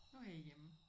Nu er jeg hjemme